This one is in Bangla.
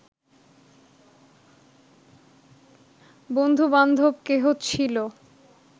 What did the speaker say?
বন্ধুবান্ধব কেহ ছিল